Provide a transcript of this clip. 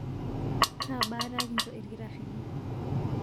Kaa baata kinchoo ilkitarini?